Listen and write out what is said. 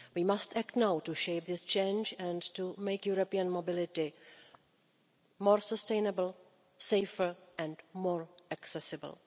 We must act now to shape this change and to make European mobility more sustainable, safer and more accessible.